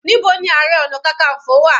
Níbo ni ààrẹ ọna kankanfo wà?